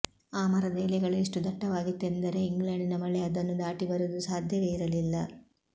ಆ ಮರದ ಎಲೆಗಳು ಎಷ್ಟು ದಟ್ಟವಾಗಿತ್ತೆಂದರೆ ಇಂಗ್ಲೆಂಡಿನ ಮಳೆ ಅದನ್ನು ದಾಟಿ ಬರುವುದು ಸಾಧ್ಯವೇ ಇರಲಿಲ್ಲ